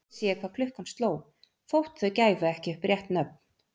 Þá vissi ég hvað klukkan sló, þótt þau gæfu ekki upp rétt nöfn.